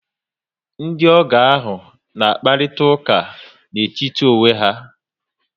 Ndiogo ahụ na akparita ụka n etítì onwe ya